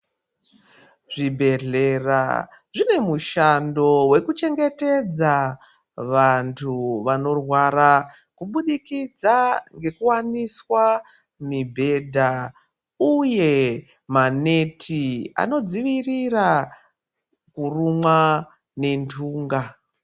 Zvibhedhlera zvinemushando wekuchengetedza vantu vanorwara kubudikidza ngekuwaniswa mibhedha, uye manethi anodzivirira kurumwa nendunga.